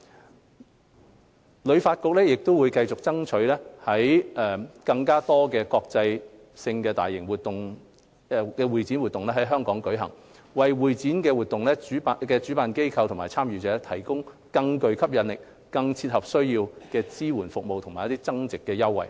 香港旅遊發展局會繼續爭取更多國際性大型會展活動在港舉行，為會展活動主辦機構及參加者提供更具吸引力、更切合需要的支援服務及增值優惠。